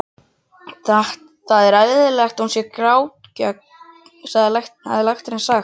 Það er eðlilegt að hún sé grátgjörn, hafði læknirinn sagt.